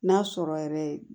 N'a sɔrɔ yɛrɛ